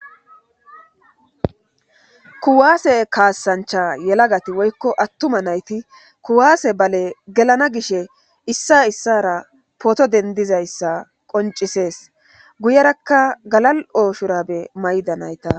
kuwaase kaassancha yelagati woykko attuma nayti kuwaase bale gelana gishe issa issara pooto dendizayssa qoncisees guyerakka galal ooshurabe mayda nayta